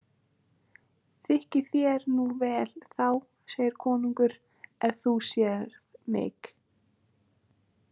Þykki þér nú vel þá, segir konungr, „er þú sér mik“?